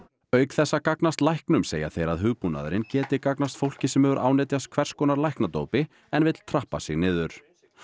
auk þess að gagnast læknum segja þeir að hugbúnaðurinn geti gagnast fólki sem hefur ánetjast hvers konar læknadópi en vill trappa sig niður